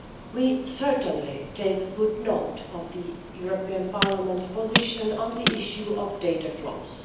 We certainly take good note of the European Parliament's position on the issue of data flows.